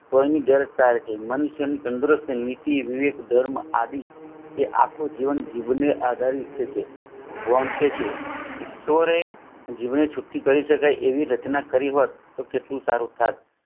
તેનું મન તન તંદુરસ્ત અને નીતિ રિવિત ધર્મ આદિ જે આપે જીવન જીવને આધારિત છે વોમસે છે એવી રચના કરી હોટ તો કેટલું સારું હોતબ